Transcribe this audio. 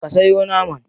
Ka sayo naman?